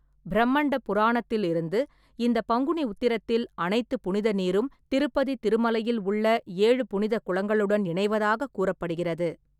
பிரம்மண்ட புராணத்தில் இருந்து, இந்த பங்குனி உத்திரத்தில், அனைத்து புனித நீரும் திருப்பதி திருமலையில் உள்ள ஏழு புனித குளங்களுடன் இணைவதாக கூறப்படுகிறது.